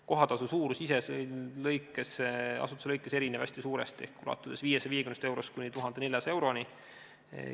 Kohatasu suurus ise asutuste kaupa erineb hästi suuresti, ulatudes 550 eurost kuni 1400 euroni.